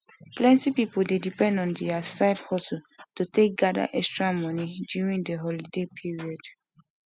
plenty people dey depend on their on their side hustle to gather extra money during holiday period